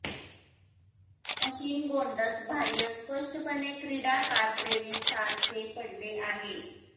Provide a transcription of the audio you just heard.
machine गोंडस बाहय स्पष्टपणे क्रीडा कार प्रेमी सारखे पडले आहे